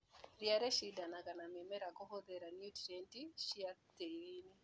Ria nĩrĩshindanaga na mĩmera kũhũthĩra nutrienti ci tĩriinĩ.